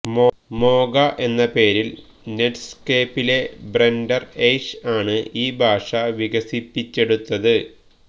Mocha എന്ന പേരിൽ നെറ്റ്സ്കേപ്പിലെ ബ്രെൻഡൻ എയ്ഷ് ആണ് ഈ ഭാഷ വികസിപ്പിച്ചെടുത്തത്